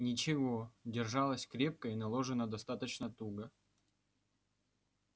ничего держалась крепко и наложена достаточно туго